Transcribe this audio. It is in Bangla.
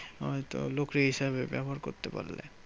হয়তো হিসেবে ব্যবহার করতে পারলে।